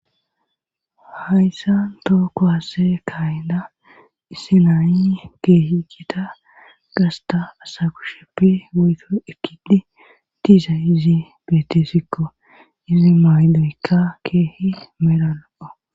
hayssa tookko hase kayinda issi nayi keehi geta gasta asakusheppe weyto ekidi diiza izi beetesikko izi mayloykka keehi meranoo